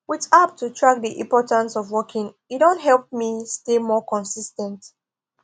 with app to track the importance of walking e don help me stay more consis ten t